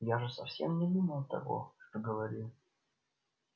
я же совсем не думал того что говорил